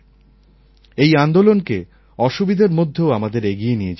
এই আন্দোলনকে অসুবিধার মধ্যেও আমাদের এগিয়ে নিয়ে যেতে হবে